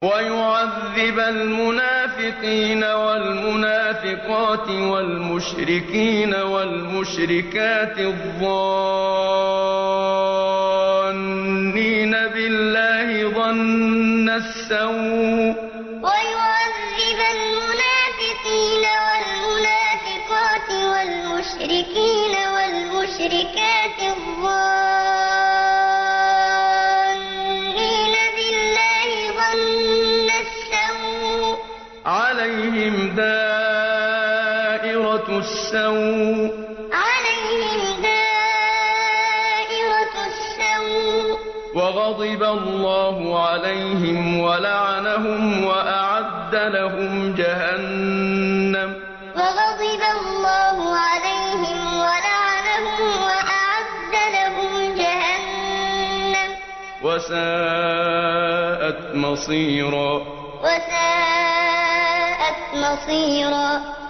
وَيُعَذِّبَ الْمُنَافِقِينَ وَالْمُنَافِقَاتِ وَالْمُشْرِكِينَ وَالْمُشْرِكَاتِ الظَّانِّينَ بِاللَّهِ ظَنَّ السَّوْءِ ۚ عَلَيْهِمْ دَائِرَةُ السَّوْءِ ۖ وَغَضِبَ اللَّهُ عَلَيْهِمْ وَلَعَنَهُمْ وَأَعَدَّ لَهُمْ جَهَنَّمَ ۖ وَسَاءَتْ مَصِيرًا وَيُعَذِّبَ الْمُنَافِقِينَ وَالْمُنَافِقَاتِ وَالْمُشْرِكِينَ وَالْمُشْرِكَاتِ الظَّانِّينَ بِاللَّهِ ظَنَّ السَّوْءِ ۚ عَلَيْهِمْ دَائِرَةُ السَّوْءِ ۖ وَغَضِبَ اللَّهُ عَلَيْهِمْ وَلَعَنَهُمْ وَأَعَدَّ لَهُمْ جَهَنَّمَ ۖ وَسَاءَتْ مَصِيرًا